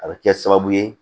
A bɛ kɛ sababu ye